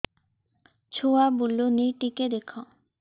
ଛୁଆ ବୁଲୁନି ଟିକେ ଦେଖ